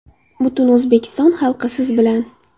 Butun O‘zbekiston xalqi siz bilan!